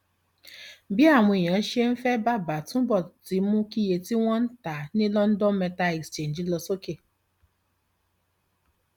bí àwọn èèyàn ṣe ń fẹ bàbà túbọ ti mú kí iye tí wọn ń ta ní london metal exchange lọ sókè